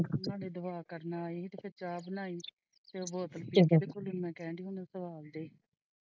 ਅਭੀ ਕਹਿੰਦਾ ਆਹੋ ਆਹੋ ਉਹਨਾਂ ਦੇ ਦਵਾ ਕਰਨ ਵਾਲੀ ਤੇ ਫੇਰ ਚਾਹ ਬਨਾਇ ਤੇ ਉਹ ਬੋਤਲ ਵਿੱਚ ਕਹਿਣ ਡਇ।